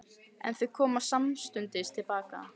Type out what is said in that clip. En þau koma samstundis til baka.